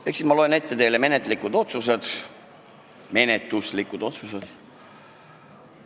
Ehk siis loen teile ette menetluslikud otsused.